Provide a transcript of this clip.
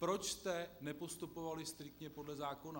Proč jste nepostupovali striktně podle zákona?